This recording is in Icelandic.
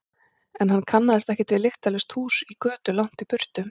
En hann kannaðist ekkert við lyktarlaust hús í götu langt í burtu.